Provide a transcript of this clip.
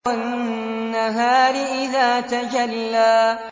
وَالنَّهَارِ إِذَا تَجَلَّىٰ